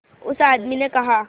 उस आदमी ने कहा